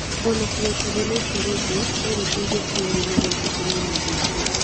O na kũgweta thĩna ũcio rĩngĩ no gũteithie kũhooreria na gũkenia mũndũ ũcio.